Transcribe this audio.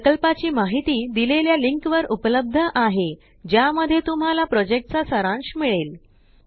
प्रकल्पाची माहिती देलेल्या लिंक वर उपलब्ध आहे ज्या मध्ये तुम्हाला प्रोजेक्टचा सारांश मिळेल